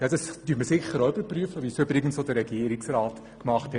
Ja, das überprüfen wir sicher auch, wie das auch Regierungsrat Pulver getan hat.